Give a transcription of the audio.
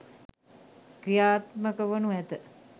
ක්‍රියාත්මක වනු ඇත